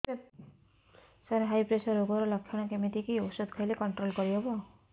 ସାର high pressure ରୋଗର ଲଖଣ କେମିତି କି ଓଷଧ ଖାଇଲେ କଂଟ୍ରୋଲ କରିହେବ